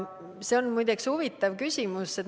See on muide huvitav küsimus.